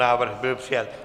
Návrh byl přijat.